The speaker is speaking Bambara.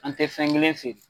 An tɛ fɛn kelen feere.